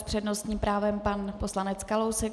S přednostním právem pan poslanec Kalousek.